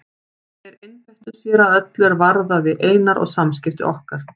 Þeir einbeittu sér að öllu er varðaði Einar og samskipti okkar.